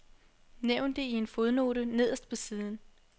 Nævn det i en fodnote nederst på siden.